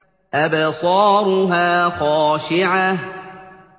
أَبْصَارُهَا خَاشِعَةٌ